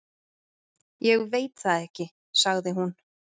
"""Ég veit það ekki, sagði hún."""